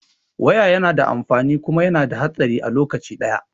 Waya yana da amfani kuma yana da hatsari a lokaci ɗaya